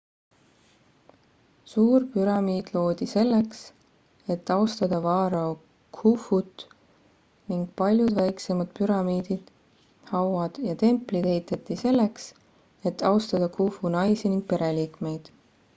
suur püramiid loodi selleks et austada vaarao khufut ning paljud väiksemad püramiidid hauad ja templid ehitati selleks et austada khufu naisi ning pereliikmeid